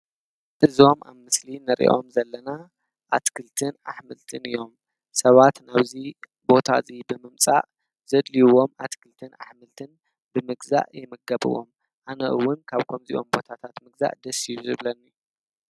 እዞም ኣብ ምስሊ እንሪኦም ዘለና ኣትክልትን አሕምልትን እዮም። ሰባት ናብዚ ቦታ እዚ ብምምፃእ ዘድልይዎም አትክልትን አሕምልትን ብምግዛእ ይምገቡዎም። አነ እውን ካብ ከምዚኦም ቦታታት ምግዛእ ደስ እዩ ዝብለኒ።